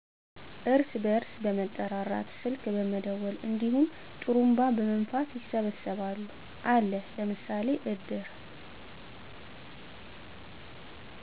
እርስ በርስ በመጠራራት ስልክ በመደወል እንዲሁም ጥሩንባ በመንፋት ይሰበሰባሉ። አለ ለምሳሌ እድር